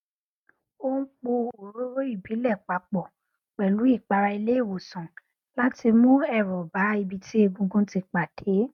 ó n po òróró ìbílẹ papọ pẹlú ìpara ilé ìwòsàn láti mú ẹrọ bá ibi tí egungun ti pàdé